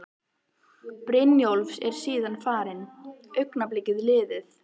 Brynjólfs og er síðan farin, augnablikið liðið.